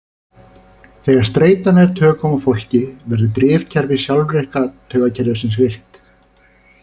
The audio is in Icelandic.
Þegar streita nær tökum á fólki verður drifkerfi sjálfvirka taugakerfisins virkt.